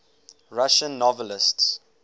russian novelists